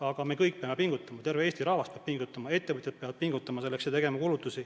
Aga me kõik peame selleks pingutama, terve Eesti rahvas peab pingutama ja ettevõtjad peavad pingutama ja kulutusi tegema.